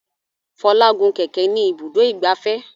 Fola gún kẹ̀kẹ́ ní Ibùdó ìgbafẹ́.